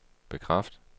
bekræft